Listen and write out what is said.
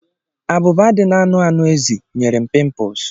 abụba dị n'anụ anụ ezi, nyere m pimples.